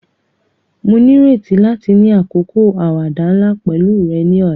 Mo nírètí láti ni àkókò àwàdà nla pẹ̀lu rẹ ni ọ̀la.